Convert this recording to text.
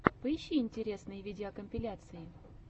поищи интересные видеокомпиляции